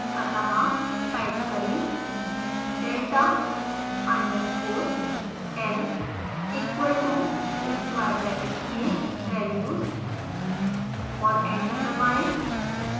अतः टाइप करें delta underscore l equal to square bracket में values और एंटर दबाएं